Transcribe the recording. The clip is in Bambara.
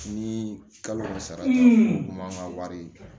Ni kalo sara o man kan ka wari ye